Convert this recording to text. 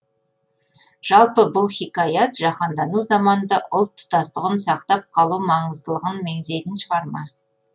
жалпы бұл хикаят жаһандану заманында ұлт тұтастығын сақтап қалу маңыздылығын меңзейтін шығарма